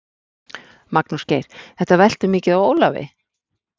Magnús Geir: Þetta veltur mikið á Ólafi?